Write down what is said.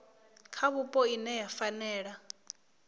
kha vhupo ine ya fanela